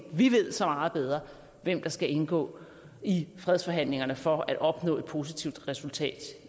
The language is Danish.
ved så meget bedre hvem der skal indgå i fredsforhandlingerne for at opnå et positivt resultat